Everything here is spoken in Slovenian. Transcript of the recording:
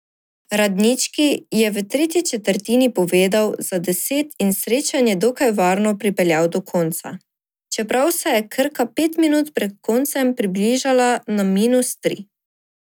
Radnički je v tretji četrtini povedel za deset in srečanje dokaj varno pripeljal do konca, čeprav se je Krka pet minut pred koncem približala na minus tri.